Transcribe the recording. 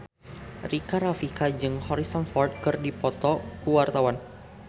Rika Rafika jeung Harrison Ford keur dipoto ku wartawan